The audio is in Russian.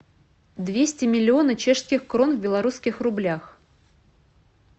двести миллиона чешских крон в белорусских рублях